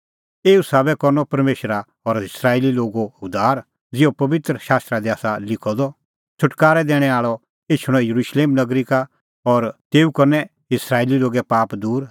एऊ साबै करनअ परमेशरा सारै इस्राएली लोगो उद्धार ज़िहअ पबित्र शास्त्रा दी आसा लिखअ द छ़ुटकारै दैणैं आल़अ एछणअ येरुशलेम नगरी का और तेऊ करनै इस्राएली लोगे पाप दूर